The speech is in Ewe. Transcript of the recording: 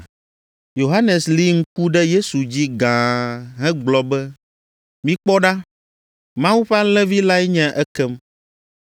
Yohanes li ŋku ɖe Yesu dzi gãa hegblɔ be, “Mikpɔ ɖa! Mawu ƒe Alẽvi lae nye ekem!”